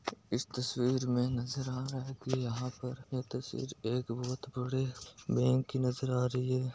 इस तस्वीर में नजर आ रहा है की यहा पर यह तस्वीर एक बहुत बड़ी बैंक नजर आ रही है।